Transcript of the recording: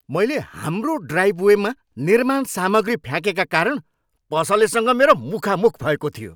मैले हाम्रो ड्राइभवेमा निर्माण सामग्री फ्याँकेका कारण पसलसँग मेरो मुखामुख भएको थियो।